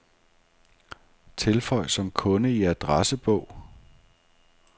Tilføj som kunde i adressebog.